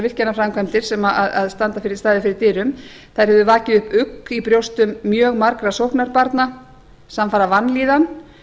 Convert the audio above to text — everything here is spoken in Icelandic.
virkjunarframkvæmdir sem hafa staðið fyrir dyrum hafi vakið upp ugg í brjóstum mjög margra sóknarbarna samfara vanlíðan